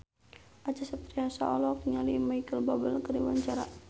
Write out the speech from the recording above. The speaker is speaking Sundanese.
Acha Septriasa olohok ningali Micheal Bubble keur diwawancara